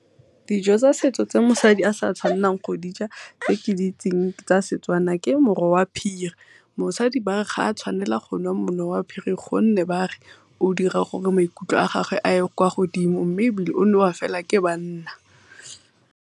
Dijo tsa setso tse mosadi a sa tshwanelang go dija tse ke di itseng tsa Setswana ke moro wa phiri. Mosadi ba re ga a tshwanela go nwa moro wa phiri gonne bare maikutlo a gagwe a ye kwa godimo mme o nwewa fela ke banna.